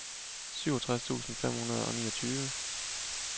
syvogtres tusind fem hundrede og niogtyve